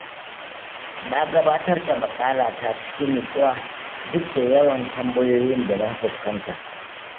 Na gabatar da maƙalata cikin nutsuwa, duk da yawan tambayoyin da na fuskanta.